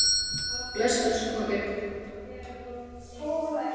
Bless, elsku pabbi minn.